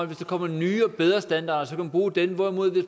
der kommer nogle nye og bedre standarder så kan bruge dem hvorimod det